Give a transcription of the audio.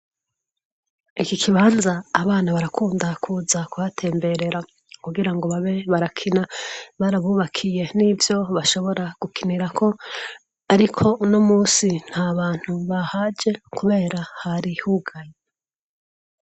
Iki kibanza abana barakunda kuza kubatemberera kugira ngo babe barakina barabubakiye n'ivyo bashobora gukinira ko ariko no musi nta bantu bahaje kubera hari hugaye.